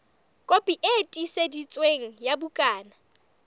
kopi e tiiseditsweng ya bukana